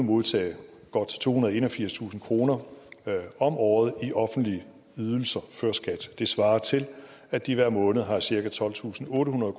modtage godt tohundrede og enogfirstusind kroner om året i offentlige ydelser før skat det svarer til at de hver måned har cirka tolvtusinde og ottehundrede